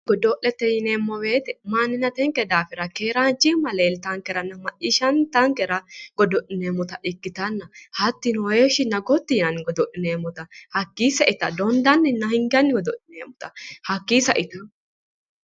godo'lete yineemmo wote manninnatinke daafira keeraanchimma leeltankera godo'lineemmota ikkitanna hattono heeshshinna gotti yinanni godo'lineemmota hakkii saita dondanninna hinganni godo'lineemmota hakii saita...